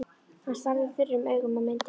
Hann starði þurrum augum á myndina.